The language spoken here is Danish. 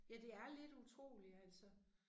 Ja det er lidt utroligt altså